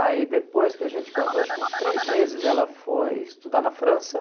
Aí depois que a gente casou, acho que uns três meses, ela foi estudar na França.